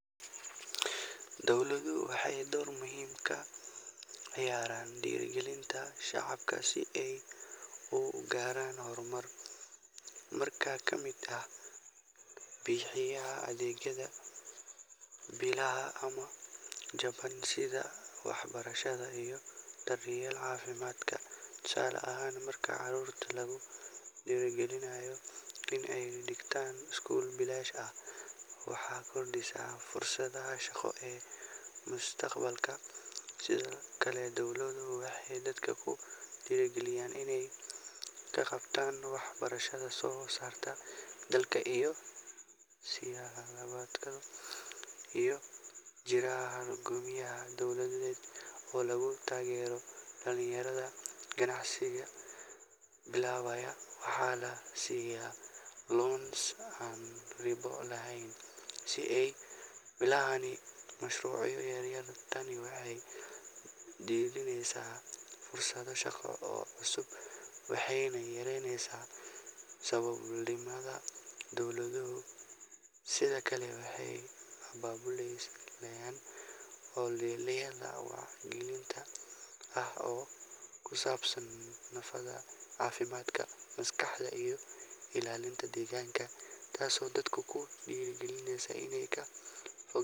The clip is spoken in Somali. Dowladuhu waxay door muhiim ah ka ciyaaraan dhiirrigelinta shacabka si ay u gaaraan horumar nololeed, dhaqaale iyo mid bulsho. Mid ka mid ah hababka ugu waxtarka badan waa in dowladuhu bixiyaan adeegyo bilaash ah ama jaban sida waxbarashada iyo daryeelka caafimaadka. Tusaale ahaan, marka carruurta lagu dhiirrigeliyo in ay dhigtaan iskuul bilaash ah, waxay kordhisaa fursadaha shaqo ee mustaqbalka. Sidoo kale, dowladuhu waxay dadka ku dhiirrigeliyaan inay ka qaybqaataan wax soo saarka dalka iyagoo siiya tababaro iyo qalab si bilaash ah ama qiimo hoose ah. Waxaa jira barnaamijyo dowladeed oo lagu taageero dhalinyarada ganacsiga bilaabaya, waxaana la siiyaa loans aan ribo lahayn si ay u bilaabaan mashruucyo yaryar. Tani waxay dhalinaysaa fursado shaqo oo cusub waxayna yaraysaa saboolnimada. Dowladuhu sidoo kale waxay abaabulaan. ol'oleyaal wacyigelin ah oo ku saabsan nadaafadda, caafimaadka maskaxda iyo ilaalinta deegaanka, taasoo dadka ku dhiirrigelisa inay ka.